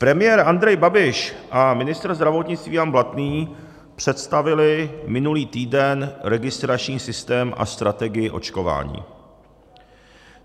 Premiér Andrej Babiš a ministr zdravotnictví Jan Blatný představili minulý týden registrační systém a strategii očkování.